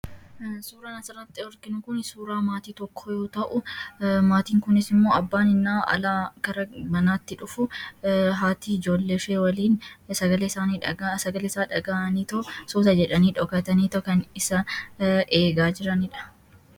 Suuraan asirratti arginu kun suuraa maatii tokkoo yoo ta'u, maatiin kunis immoo abbaan yennaa alaa gara manaatti dhufu, haati ijoollee ishee waliin isaanii dhaga'anii, sagaleesaa dhagahaniitoo suuta jedhanii dhokataniitu kan isaan eegaa jiranidha.